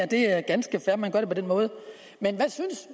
det er ganske fair at man gør det på den måde men hvad synes